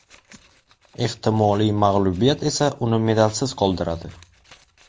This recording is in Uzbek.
Ehtimoliy mag‘lubiyat esa uni medalsiz qoldiradi.